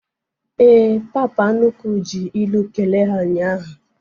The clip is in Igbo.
Éè, papa nnukwu ji ilu kelee ha ụnyaahụ